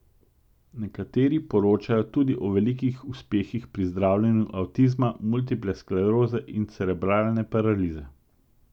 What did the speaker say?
Nekateri poročajo tudi o velikih uspehih pri zdravljenju avtizma, multiple skleroze in cerebralne paralize.